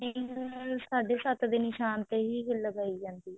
ਸਾਢੇ ਸੱਤ ਦੇ ਨਿਸ਼ਾਨ ਤੇ ਹੀ ਲਗਾਈ ਜਾਂਦੀ ਹੈ